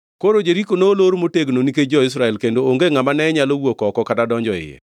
Koro Jeriko nolor motegno nikech jo-Israel kendo onge ngʼama ne nyalo wuok oko kata donjo iye.